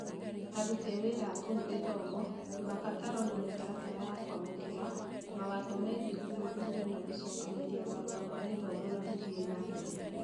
Aruti a wĩra a kũu gĩthomo, mabataro na mĩtaratara ya kwamũkĩra, mawatho megiĩ gũthuthuria na gũcokanĩrĩria marũa ma gĩthomo na gũthiĩ na mbere.